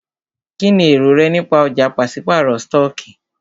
Kínní èrò rẹ nípa ọ̀já pàṣípàrọ̀ stọọkí?